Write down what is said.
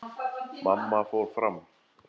Mamma fór fram.